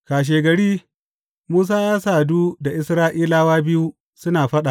Kashegari, Musa ya sadu da Isra’ilawa biyu suna faɗa.